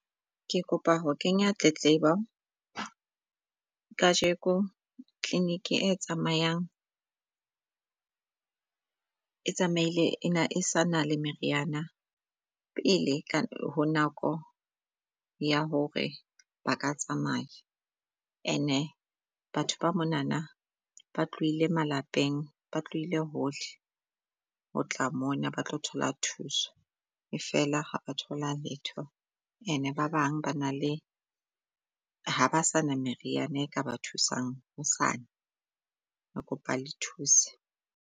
Ke kopa ho kenya tletlebo kajeko vlinic e tsamayang, e tsamaile ena e sa na le meriana pele ho nako ya hore ba ka tsamaya. And-e batho ba monana ba tlohile malapeng ba tlohile hole ho tla mona ba tlo thola thuso. E fela ha ba thola letho and-e ba bang ba na le ha ba sa na meriana e ka ba thusang hosane. Re kopa le thuse.